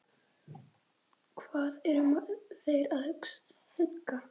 Hvað eru þeir að huga?